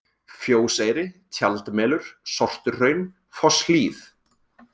Fjóseyri, Tjaldmelur, Sortuhraun, Fosshlíð